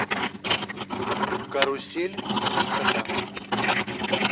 карусель три кота